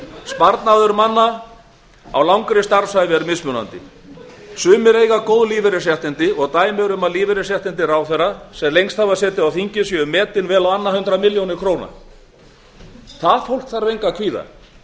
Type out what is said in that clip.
sparnaður landsmanna á langri starfsævi er mismunandi sumir eiga góð lífeyrisréttindi sem þeir hafa öðlast dæmi eru um að lífeyrisréttindi þingmanna ráðherra sem lengst hafa setið á alþingi séu metin vel á annað hundrað milljónir króna það fólk þarf engu að kvíða